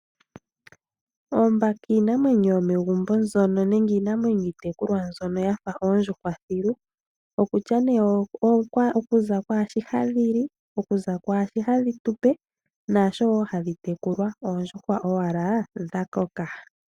Oombaka iinamwenyo yomegumbo nenge iinamwenyo iitekulwa mbyono ya fa oondjuhwa thilu okutya nee okuza kwaashi hadhi li, okuza kwaashi dhadhi tu pe naasho wo hadhi tekulwa, oondjuhwa owala dha koka.